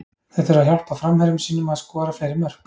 Þeir þurfa að hjálpa framherjum sínum að skora fleiri mörk.